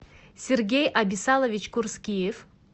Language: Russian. сергей абисалович курскиев